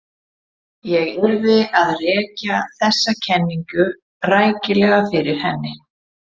Ég yrði að rekja þessa kenningu rækilega fyrir henni.